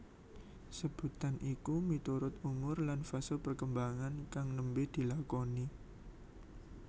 Sebutan iku miturut umur lan fase perkembangan kang nembe dilakoni